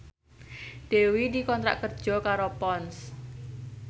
Dewi dikontrak kerja karo Ponds